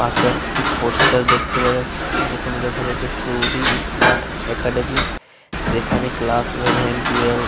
পাশে একটি পোস্টার দেখতে পাওয়া যাচ্ছে। এখানে লেখা রয়েছে শ্রুদি স্মার্ট একাডেমি । যেখানে ক্লাস ইলেভেন টুয়েলভ ।